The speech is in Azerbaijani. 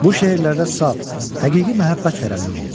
Bu şeirlərdə saf, həqiqi məhəbbət tərənnüm olunur.